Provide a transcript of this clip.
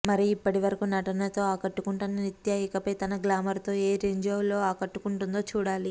మరి ఇప్పటివరకు నటనతో ఆకట్టుకున్న నిత్య ఇకపై తన గ్లామర్ తో ఏ రేంజ్ లో ఆకట్టుకుంటుందో చూడాలి